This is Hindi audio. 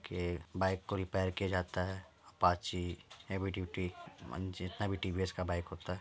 के बाइक को रिपेयर किया जाता है। अपाची हेवी ड्यूटी मन जितना भी टीवीएस का बाइक होता है।